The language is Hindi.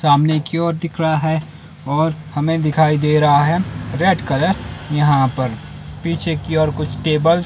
सामने कि और दिख रहा है और हमें दिखाई दे रहा है रेड कलर यहां पर पीछे की और कुछ टेबल --